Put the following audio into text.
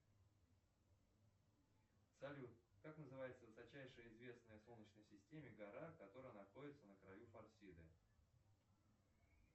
салют как называется высочайшая известная в солнечной системе гора которая находится на краю фарсиды